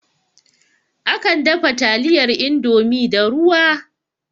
Akan dafa taliyar Indomie da ruwa